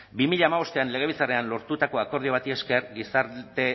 bi mila hamabostean legebiltzarrean lortutako akordio bati esker gizarte